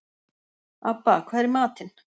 Abba, hvað er í matinn?